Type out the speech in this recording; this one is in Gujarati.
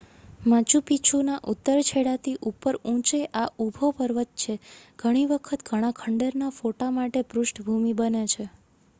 મચુ પીછુંના ઉત્તર છેડાથી ઉપર ઊંચે આ ઊભો પર્વત છે ઘણીવખત ઘણા ખંડેરના ફોટા માટે પૃષ્ઠભૂમિ બને છે